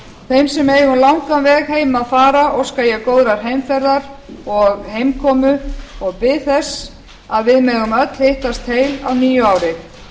þeim sem eiga um langan veg heim að fara óska ég góðrar heimferðar og heimkomu og bið þess að við megum öll hittast heil á nýju ári